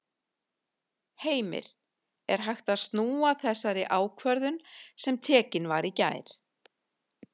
Heimir: Er hægt að snúa þessari ákvörðun sem tekin var í gær?